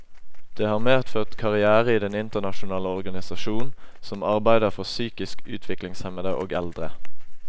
Det har medført karrière i den internasjonale organisasjon, som arbeider for psykisk utviklingshemmede og eldre.